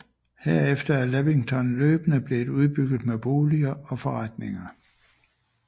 Herefter er Lavington løbende blev udbygget med boliger og forretninger